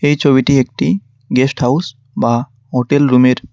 এই ছবিটি একটি গেস্ট হাউস বা হোটেল রুম -এর।